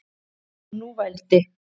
Og nú vældi